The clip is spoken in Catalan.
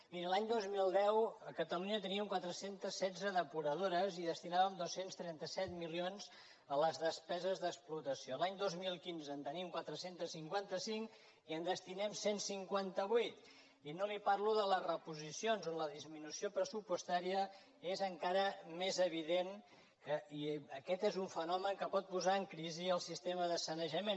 miri l’any dos mil deu a catalunya teníem quatre cents i setze depuradores i destinàvem dos cents i trenta set milions a les despeses d’explotació l’any dos mil quinze en tenim quatre cents i cinquanta cinc i hi destinem cent i cinquanta vuit i no li parlo de les reposicions on la disminució pressupostària és encara més evident i aquest és un fenomen que pot posar en crisi el sistema de sanejament